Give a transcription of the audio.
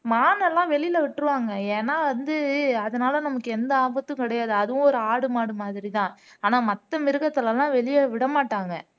மான் எல்லாம் வெளியில விட்டுருவாங்க ஏன்னா வந்து அதனால நமக்கு எந்த ஆபத்தும் கிடையாது அதுவும் ஒரு ஆடு மாடு மாதிரிதான் ஆனா மத்த மிருகத்துல எல்லாம் வெளியே விட மாட்டாங்க